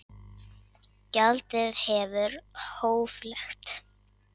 Gjaldið verður hóflegt